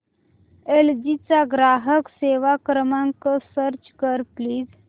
L G चा ग्राहक सेवा क्रमांक सर्च कर प्लीज